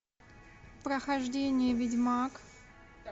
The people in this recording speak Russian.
прохождение ведьмак